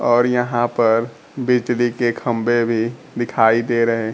और यहां पर बिजली के खंभे भी दिखाई दे रहे--